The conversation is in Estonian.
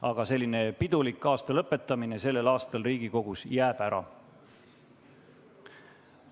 Aga selline pidulik aasta lõpetamine jääb sel aastal Riigikogus ära.